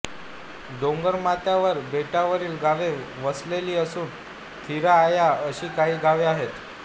डोंगर माथ्यावर बेटावरील गावे वसलेली असून थीरा ऑया अशी काही गावे आहेत